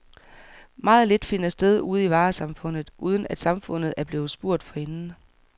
Meget lidt finder sted ude i varesamfundet, uden at samfundet er blevet spurgt forinden.